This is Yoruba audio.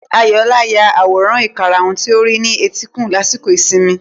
Ayọ̀ọlá ya àwòrán ìkarahun tí ó rí ní etíkun lásìkò ìsinmi.